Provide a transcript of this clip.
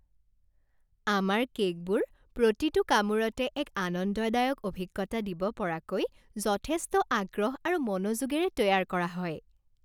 আমাৰ কে'কবোৰ প্ৰতিটো কামোৰতে এক আনন্দদায়ক অভিজ্ঞতা দিব পৰাকৈ যথেষ্ট আগ্ৰহ আৰু মনোযোগেৰে তৈয়াৰ কৰা হয়।